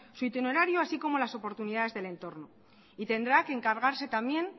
su itinerario así como las oportunidades del entorno y tendrá que encargarse también